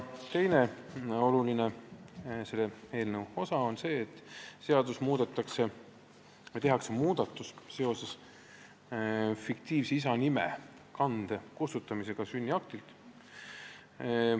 Teine oluline eelnõu osa on see, et tehakse muudatus seoses isa fiktiivse nime kande kustutamisega sünniaktilt.